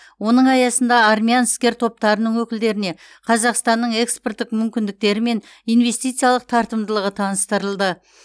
оның аясында армян іскер топтарының өкілдеріне қазақстанның экспорттық мүмкіндіктері мен инвестициялық тартымдылығы таныстырылды